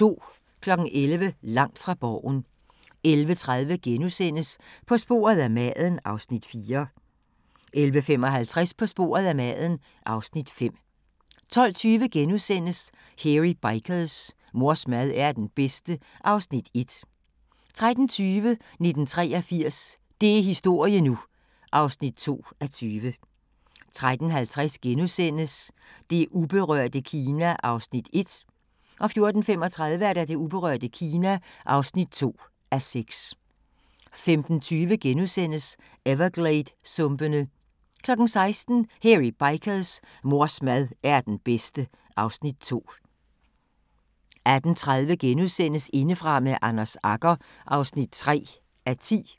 11:00: Langt fra Borgen 11:30: På sporet af maden (Afs. 4)* 11:55: På sporet af maden (Afs. 5) 12:20: Hairy Bikers : Mors mad er den bedste (Afs. 1)* 13:20: 1983 – det er historie nu! (2:20) 13:50: Det uberørte Kina (1:6)* 14:35: Det uberørte Kina (2:6) 15:20: Evergladesumpene * 16:00: Hairy Bikers: Mors mad er den bedste (Afs. 2) 18:30: Indefra med Anders Agger (3:10)*